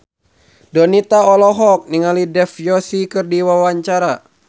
Donita olohok ningali Dev Joshi keur diwawancara